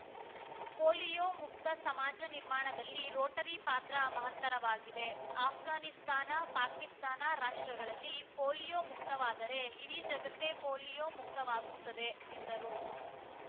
polio ಮುಕ್ತ ಸಮಾಜ ನಿರ್ಮಾಣದಲ್ಲಿ ರೋಟರಿ ಪಾತ್ರ ಮಹತ್ತರವಾಗಿದೆ ಆಷ್ಘಾನಿಸ್ತಾನ ಪಾಕಿಸ್ತಾನ ರಾಷ್ಟ್ರಗಳಲ್ಲಿ ಪೋಲೀಯೋ ಮುಕ್ತವಾದರೆ ಇಡೀ ಜಗತ್ತೆ ಪೋಲೀಯೋ ಮುಕ್ತವಾಗುತ್ತದೆ ಎಂದರು